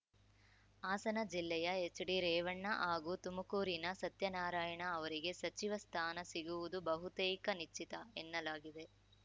ಹಾಸನ ಜಿಲ್ಲೆಯ ಎಚ್‌ಡಿರೇವಣ್ಣ ಹಾಗೂ ತುಮಕೂರಿನ ಸತ್ಯನಾರಾಯಣ ಅವರಿಗೆ ಸಚಿವ ಸ್ಥಾನ ಸಿಗುವುದು ಬಹುತೇಕ ನಿಶ್ಚಿತ ಎನ್ನಲಾಗಿದೆ